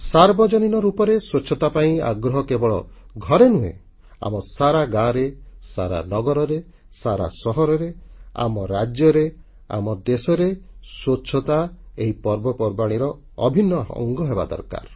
ସାର୍ବଜନୀନ ରୂପରେ ସ୍ୱଚ୍ଛତା ପାଇଁ ଆଗ୍ରହ କେବଳ ଘରେ ନୁହେଁ ଆମର ସାରା ଗାଁରେ ସାରା ନଗରରେ ସାରା ସହରରେ ଆମ ରାଜ୍ୟରେ ଆମ ଦେଶରେ ସ୍ୱଚ୍ଛତା ଏହି ପର୍ବପର୍ବାଣୀର ଅଭିନ୍ନ ଅଙ୍ଗ ହେବା ଦରକାର